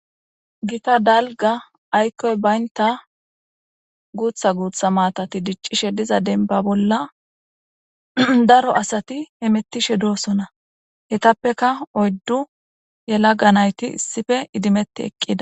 Giththa bayiniththa ayikoy bayinththa maththay dic'ishshen dizza denba bollaa daro asati hametishin de'osona ettappekka oyidu yelagge nayththi issipe idimethi eqqida.